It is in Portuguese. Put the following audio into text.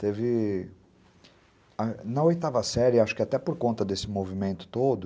Teve... Na oitava série, acho que até por conta desse movimento todo,